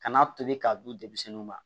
Kan'a tobi k'a dun denmisɛnninw ma